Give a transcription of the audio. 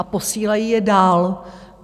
A posílají je dál.